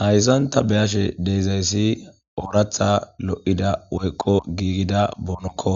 Hayssan ta beyashe deyzayssi ooratha lo7ida woykko giigida boonokko